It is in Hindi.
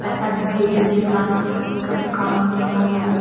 पैसा भेजने का ट्रान्स्फ़र करने का भी काम यहाँ पे हो स --